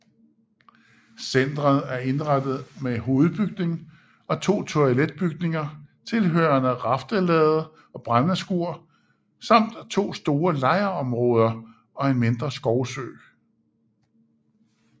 Centret er indrettet med hovedbygning og to toiletbygninger tilhørende raftelade og brændeskur samt to store lejrområder og en mindre skovsø